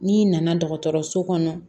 N'i nana dɔgɔtɔrɔso kɔnɔ